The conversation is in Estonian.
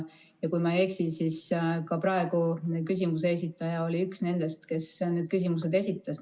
Ja kui ma ei eksi, siis ka praeguse küsimuse esitaja oli üks nendest, kes need küsimused esitas.